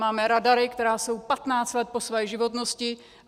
Máme radary, které jsou 15 let po své životnosti.